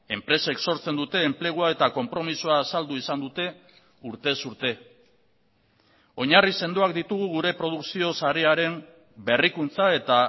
enpresek sortzen dute enplegua eta konpromisoa azaldu izan dute urtez urte oinarri sendoak ditugu gure produkzio sarearen berrikuntza eta